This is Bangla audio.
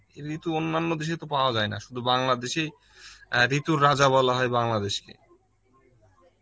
ঋতু অন্যান্য দেশে তো পাওয়া যায় না সুধু বাংলা দেশেই, অ্যাঁ ঋতুর রাজা বলা হয় বাংলাদেশ কে